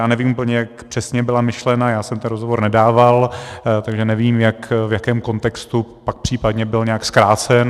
Já nevím úplně, jak přesně byla myšlena, já jsem ten rozhovor nedával, takže nevím, v jakém kontextu pak případně byl nějak zkrácen.